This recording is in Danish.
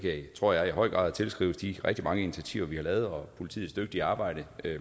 tror jeg i høj grad kan tilskrives de rigtig mange initiativer vi har taget og politiets dygtige arbejde